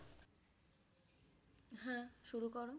হ্যাঁ শুরু করো